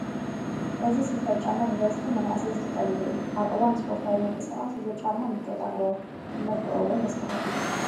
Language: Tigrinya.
እዚ ስኒከር ጫማ ብበዝሒ መናእሰይ ዝጥቀሙሉ እዩ፡፡ ኣብ እዋን ስፖርታዊ ምንቅስቓስ እዚ ጫማ ምቾት ኣለዎ፡፡ መልክዑ እውን ደስ በሃሊ እዩ፡፡